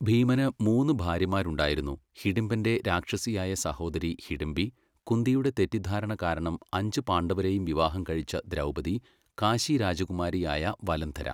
ഭീമന് മൂന്ന് ഭാര്യമാരുണ്ടായിരുന്നു, ഹിഡിംബന്റെ രാക്ഷസിയായ സഹോദരി ഹിഡിംബി, കുന്തിയുടെ തെറ്റിദ്ധാരണ കാരണം അഞ്ച് പാണ്ഡവരേയും വിവാഹം കഴിച്ച ദ്രൗപദി, കാശി രാജകുമാരിയായ വലന്ധര.